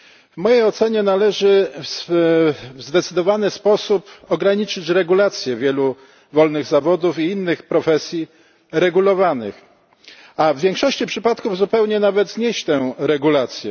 W mojej ocenie należy w zdecydowany sposób ograniczyć regulacje wielu wolnych zawodów i innych profesji regulowanych, a w większości przypadków nawet zupełnie znieść te regulacje.